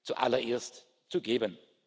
Ihnen zuallererst zu geben.